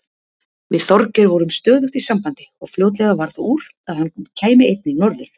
Við Þorgeir vorum stöðugt í sambandi og fljótlega varð úr að hann kæmi einnig norður.